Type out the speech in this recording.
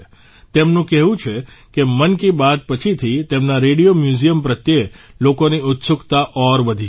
તેમનું કહેવું છે કે મન કી બાત પછીથી તેમના રેડિયો મ્યુઝિયમ પ્રત્યે લોકોની ઉત્સુકતા ઔર વધી ગઇ છે